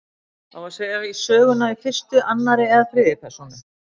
Á að segja söguna í fyrstu, annarri eða þriðju persónu?